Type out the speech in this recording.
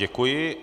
Děkuji.